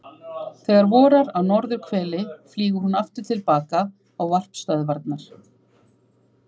Þegar vorar á norðurhveli flýgur hún aftur til baka á varpstöðvarnar.